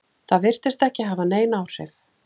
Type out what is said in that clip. Það virtist ekki hafa nein áhrif?